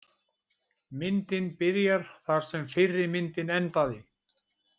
Myndin byrjar þar sem fyrri myndin endaði.